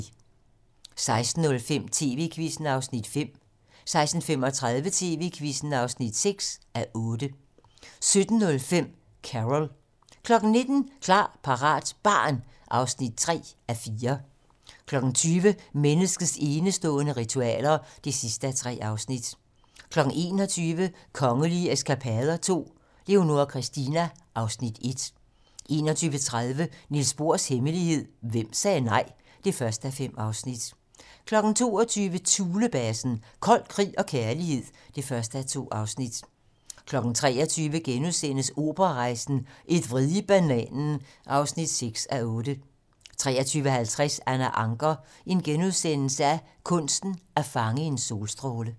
16:05: TV-Quizzen (5:8) 16:35: TV-Quizzen (6:8) 17:05: Carol 19:00: Klar, parat - barn (3:4) 20:00: Menneskets enestående ritualer (3:3) 21:00: Kongelige eskapader II - Leonora Christina (Afs. 1) 21:30: Niels Bohrs hemmelighed: Hvem sagde nej? (1:5) 22:00: Thulebasen - kold krig og kærlighed (1:2) 23:00: Operarejsen - Et vrid i bananen (6:8)* 23:50: Anna Ancher - kunsten at fange en solstråle *